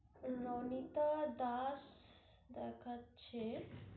রণিতা দাস দেখাচ্ছে